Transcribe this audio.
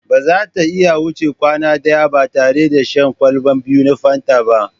Ba za ta iya wuce kwana ɗaya ba tare da shan kwalba biyu na Fanta ba